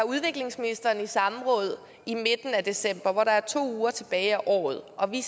udviklingsministeren i samråd i midten af december hvor der var to uger tilbage af året og vi